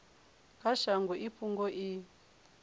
kha shango i fhungo i